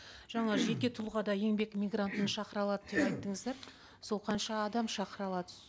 жаңа жеке тұлға да еңбек мигрантын шақыра алады деп айттыңыздар сол қанша адам шақыра алады